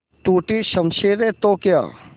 टूटी शमशीरें तो क्या